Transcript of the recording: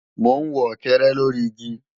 Mò ń wọ̀kẹ́rẹ́ lóri igi